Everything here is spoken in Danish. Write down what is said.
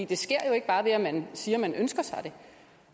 det sker jo ikke bare ved at man siger at man ønsker sig det